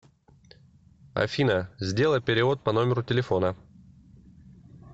афина сделай перевод по номеру телефона